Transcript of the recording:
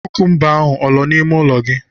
Kukumba ahụ ọ nọ n'ime ụlọ gị?